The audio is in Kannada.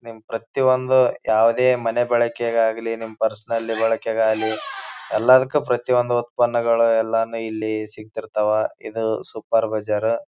ನಿಮ್ ಪ್ರತಿಯೊಂದು ಯಾವುದೇ ಮನೆ ಬಳಕೆ ಗಾಗಲಿ ನಿಮ್ ಪರ್ಸನಲ್ ಬಳಕೆಗಾಗಲಿ ಎಲ್ಲದಕ್ಕೂ ಪ್ರತಿಯೊಂದು ಉತ್ಪನ್ನಗಳು ಎಲ್ಲ ಇಲ್ಲಿ ಸಿಗ್ತಿರ್ತಾವ ಇದು ಸೂಪರ್ ಬಜಾರು .